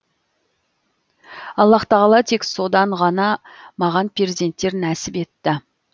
аллаһ тағала тек содан ғана маған перзенттер нәсіп етті